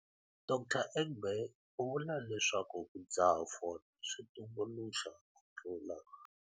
Dr Egbe u vula leswaku ku dzaha fole swi tumbuluxa ku tlula.